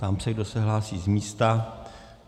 Ptám se, kdo se hlásí z místa.